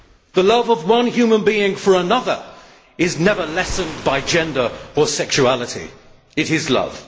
The love of one human being for another is never lessened by gender or sexuality it is love.